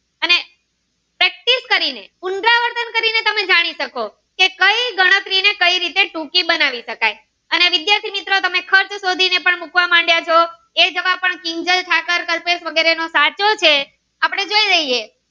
ગણતરી કરી ને પુનરાવર્તન કરી ને તમે જાણી શકો કે કઈ રીતે ગણતરી ને કઈ રીતે ટૂંકી બનાવી કરી શકાય વિદ્યાર્થી મિત્રો તમે ખર્ચ સીધી ને પણ મુકવા માંડ્યા ચો એ જવાબ પણ કીન્જાલ થાકેલ કલ્પેશ એનો સાચો છે આપડે જોઈ રહીએ.